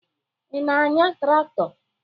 Ị na-anya traktọ?